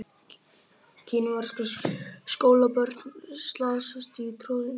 Kínversk skólabörn slasast í troðningi